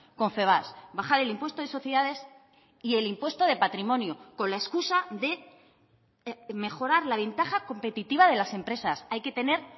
confebask bajar el impuesto de sociedades y el impuesto de patrimonio con la excusa de mejorar la ventaja competitiva de las empresas hay que tener